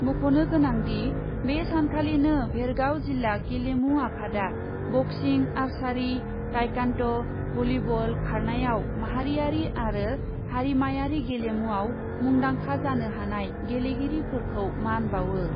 मख'नो गोनांदि, बे सानखालिनो भेरगाव जिल्ला गेलेमु आफादआ बक्सिं, आर्सारि, ताइकान्ड, भलीबल, खारनायाव माहारियारि आरो हारिमायारि गेलेमुयाव मुंदांखा जानो हानाय गेलेगिरिफोरखौ मान बावो ।